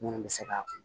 Minnu bɛ se ka